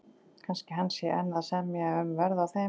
Kannski hann sé enn að semja um verð á þeim.